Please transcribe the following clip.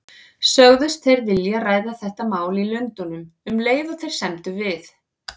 Sögðust þeir vilja ræða þetta mál í Lundúnum, um leið og þeir semdu við